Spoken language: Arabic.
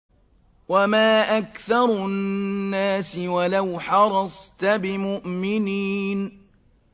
وَمَا أَكْثَرُ النَّاسِ وَلَوْ حَرَصْتَ بِمُؤْمِنِينَ